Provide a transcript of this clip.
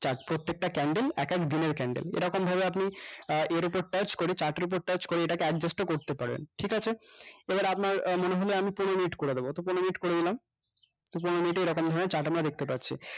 প্রত্যেকটা candle এক এক দিনের candle এরকম ভাবে আপনি আহ এর ওপর touch করে আপনি chart করে এটাকে adjust ও করতে পারেন ঠিক আছে এবার আপনার মনে হলো আমি পনেরো minute করে দেব তো পড়েন minute করে নিলাম তো পনেরো minute এ এরকমভাবে chart টা আমরা দেখতে পাচ্ছি